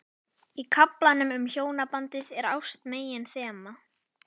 Í kaflanum um hjónabandið er ást meginþema.